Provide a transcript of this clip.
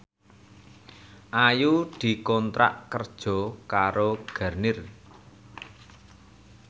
Ayu dikontrak kerja karo Garnier